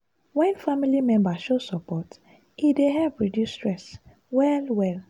wen family members show support e dey help reduce stress well-well.